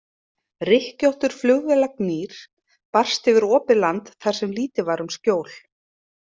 Rykkjóttur flugvélagnýr barst yfir opið land þar sem lítið var um skjól.